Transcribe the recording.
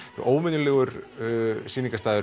óvenjulegur